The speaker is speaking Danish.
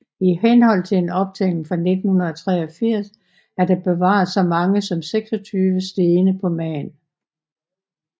I henhold til en optælling fra 1983 er der bevaret så mange som 26 stene på Man